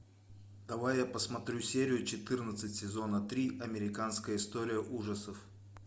давай я посмотрю серию четырнадцать сезона три американская история ужасов